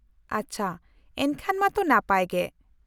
-ᱟᱪᱪᱷᱟ, ᱮᱱᱠᱷᱟᱱ ᱢᱟᱛᱚ ᱱᱟᱯᱟᱭ ᱜᱮ ᱾